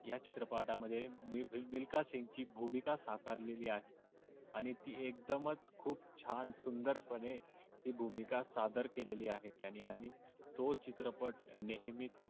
या चित्रपटामध्ये योगासन ची भूमिका साकारलेले आहे. आणि ती एकदमच खूप छान सुंदरपणे ती भूमिका सादर केलेले आहे त्यांनी त्याने आणि तो चित्रपट नेहमीच